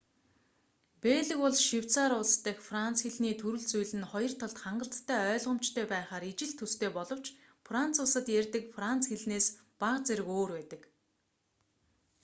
бельги болон швейцарь улс дахь франц хэлний төрөл зүйл нь хоёр талд хангалттай ойлгомжтой байхаар ижил төстэй боловч франц улсад ярьдаг франц хэлнээс бага зэрэг өөр байдаг